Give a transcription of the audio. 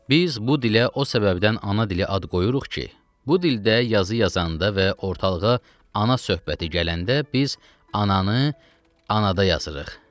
Biz bu dilə o səbəbdən ana dili ad qoyuruq ki, bu dildə yazı yazanda və ortalığa ana söhbəti gələndə biz ananı anada yazırıq.